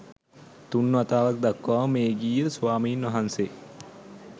තුන් වතාව දක්වාම මේඝිය ස්වාමීන් වහන්සේ